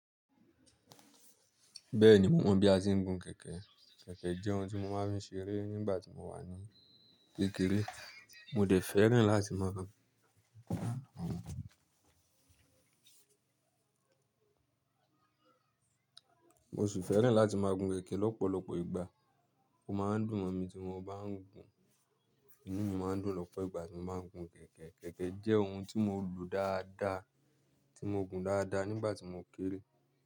Bẹ́ẹ̀ni, mo mọ̀ bí a ti ń gun kẹ̀kẹ́. Kẹ̀kẹ́ jẹ́ ohun tí mo máa ń fi ṣeré nígbà tí mo wà ní kékeré. Mo dẹ̀ fẹ́ràn láti máa gun. Mo sì fẹ́ràn láti máa gun kẹ̀kẹ́ lọ́pọ̀lọpọ̀ ìgbà. Ó máa ń dùn mọ̀ mi tí mo bá ń gun. Ìnu mi máa ń dùn lọ́pọ̀ ìgbà tí mo bá ń gun kẹ̀kẹ́. Kẹ̀kẹ́ jẹ́ ohun tí mo lò dáadáa, tí mo gun dáadáa nígbà tí mo kéré.